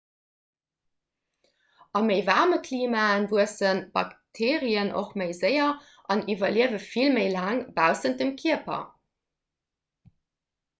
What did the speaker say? a méi waarme klimae wuesse bakteerien och méi séier an iwwerliewe vill méi laang baussent dem kierper